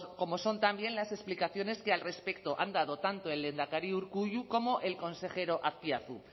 como son también las explicaciones que al respecto han dado tanto el lehendakari urkullu como el consejero azpiazu